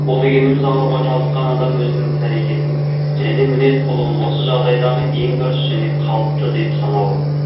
ол дегеніміз ауруға шалдыққан адам өзінің іс әрекетін және мінез құлығын осы жағдайдағы ең дұрыс және қауыпты деп санауы